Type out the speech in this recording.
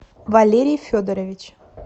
валерий федорович